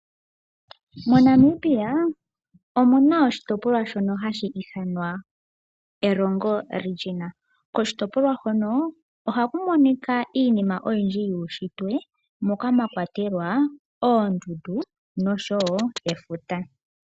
MoNamibia omuna oshitopolwa shono hashi ithanwa Erongo Region. Koshitopolwa hono oha ku monika iinima oyindji yuushitwe moka mwakwatelwa oondundu nenge efuta.